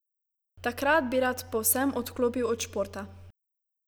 Takrat bi rad povsem odklopil od športa.